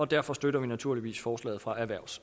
derfor støtter vi naturligvis forslaget fra erhvervs